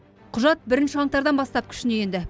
құжат бірінші қаңтардан бастап күшіне енді